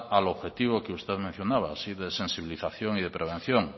al objetivo que usted mencionaba ese de sensibilización y de prevención